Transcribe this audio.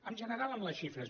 en general amb les xifres